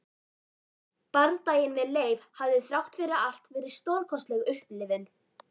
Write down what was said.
Bardaginn við Leif hafði þrátt fyrir allt verið stórkostleg upplifun.